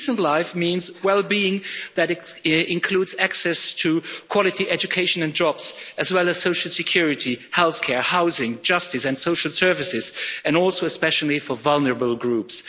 And a decent life means wellbeing that includes access to quality education and jobs, as well as social security, healthcare, housing, justice and social services, and also especially for vulnerable groups.